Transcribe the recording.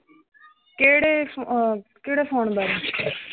ਕੇੜੇ ਫੋ ਅਮ ਕੇੜੇ ਫੋਨ ਬਾਰੇ?